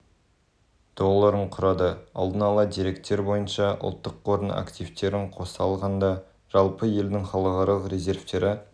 долларын құрады алдын ала деректер бойынша ұлттық қордың активтерін қоса алғанда жалпы елдің халықаралық резервтері